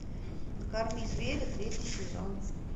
накорми зверя третий сезон